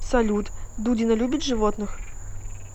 салют дудина любит животных